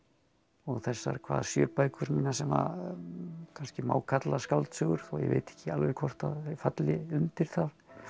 og þessar hvað sjö bækur sem kannski má kalla skáldsögur þó ég viti ekki alveg hvort þær falli undir það